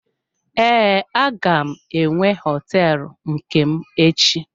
Ee, aga m enwe hoteelu nke m echi.